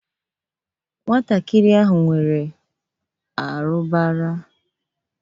Nwata a nwere arụbara.